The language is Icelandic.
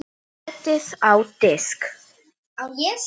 Setjið á diska.